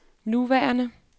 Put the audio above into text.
nuværende